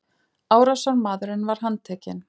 Árásarmaðurinn var handtekinn